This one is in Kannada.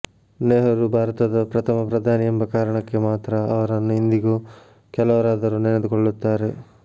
ನೆಹರು ಭಾರತದ ಪ್ರಥಮ ಪ್ರಧಾನಿ ಎಂಬ ಕಾರಣಕ್ಕೆ ಮಾತ್ರ ಅವರನ್ನು ಇಂದಿಗೂ ಕೆಲವರಾದರೂ ನೆನೆದುಕೊಳ್ಳುತ್ತಾರೆ